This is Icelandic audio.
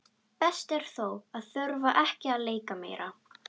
Best er þó að þurfa ekki að leika meira.